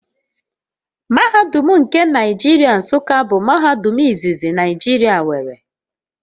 Mahadum nke Nigeria Nsuka bụ mahadum izizi Naijiria nwere